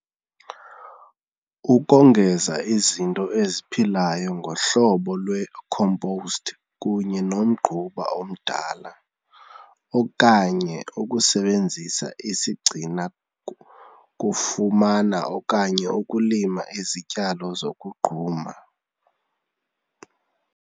Ukongeza izinto eziphilayo ngohlobo lwe-compost kunye nomgquba omdala okanye ukusebenzisa isigcina kufumana okanye ukulima izityalo zokugquma.